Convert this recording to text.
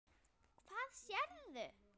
Hvað sérðu?